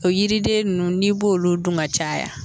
O yiriden nunnu n'i b'o olu dun ka caya